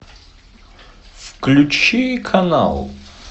включи канал